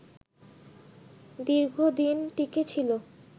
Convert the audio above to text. দীর্ঘদিন টিকে ছিল